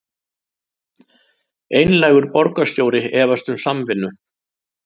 Einlægur borgarstjóri efast um samvinnu